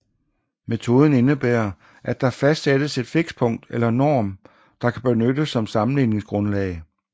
Metoden indebærer at der fastsættes et fikspunkt eller en norm der kan benyttes som sammenligningsgrundlag